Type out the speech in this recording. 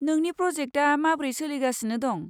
नोंनि प्रजेक्टआ माबोरै सोलिगासिनो दं?